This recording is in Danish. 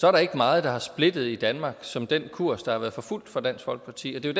er der ikke meget der har splittet i danmark som den kurs der har været forfulgt fra dansk folkeparti og det er